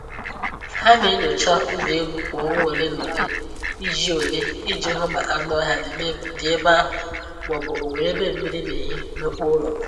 Ha na-enyocha ụlọ elu kwa ọnwa ole na ole iji ole iji hụ ma anụ ọhịa dị ebe ahụ, ma ọ bụ onwere ebe mmiri n'ehi n’ọkpọ ụlọ